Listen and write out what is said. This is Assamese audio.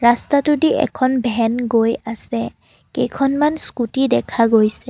ৰাস্তাটোদি এখন ভেন গৈ আছে কেইখনমান স্কুটি দেখা গৈছে।